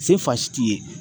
Sen fa si t'i ye